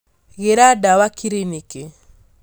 Gĩra ndawa kiriniki